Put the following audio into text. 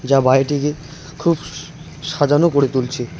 যা বাড়িটিকে খুব সাজানো করে তুলছে।